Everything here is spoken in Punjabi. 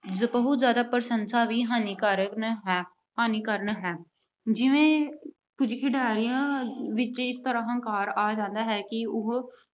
ਬਹੁਤ ਜਿਆਦਾ ਪ੍ਰਸ਼ੰਸਾ ਵੀ ਹਾਨੀਕਾਰਕ ਹੈ ਅਹ ਹਾਨੀਕਾਰਕ ਹੈ। ਜਿਵੇਂ ਕੁਝ ਖਿਡਾਰੀਆਂ ਵਿੱਚ ਹੰਕਾਰ ਆ ਜਾਂਦਾ ਹੈ ਕਿ ਉਹ